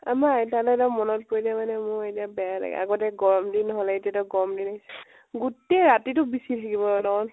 আমাৰ আইতালৈ এতিয়া মনত পৰিলে মানে মোৰ এতিয়া বেয়াই লাগে। আগতে গৰম দিন হলে, এতিয়াতো গৰম দিন গোটেই ৰাতিতো বিছি থাকিব